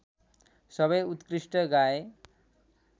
सबै उत्कृष्ट गाए